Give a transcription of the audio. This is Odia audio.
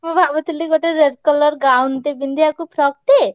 ମୁଁ ଭାବୁଥିଲି ଗୋଟେ red colour gown ଟେ ପିନ୍ଧିଆକୁ frock ଟେ।